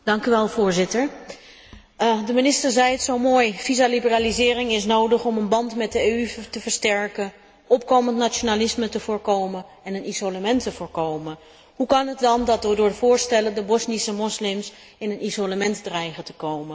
Voorzitter, de minister zei het zo mooi, visa liberalisering is nodig om een band met de EU te versterken, opkomend nationalisme te voorkomen en een isolement te voorkomen. Hoe kan het dan dat door de voorstellen de Bosnische moslims in een isolement dreigen te komen?